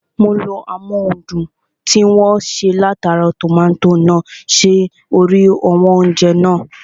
Mo lo amóhundùn tí wọ́n ṣe látara tòmátò náà sí orí àwọn oúnjẹ (fries) náà